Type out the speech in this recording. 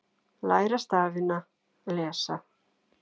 Læra stafina- lesa